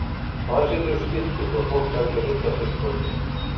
Og hann setur upp skilti svo fólk fari ekki að villast hérna í borginni.